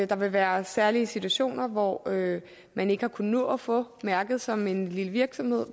der vil være særlige situationer hvor man ikke har kunnet nå at få mærket som en lille virksomhed